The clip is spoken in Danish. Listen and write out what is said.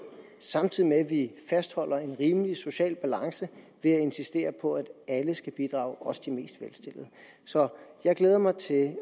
samtidig med at vi fastholder en rimelig social balance ved at insistere på at alle skal bidrage også de mest velstillede så jeg glæder mig til